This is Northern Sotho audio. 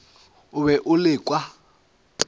o be o le ka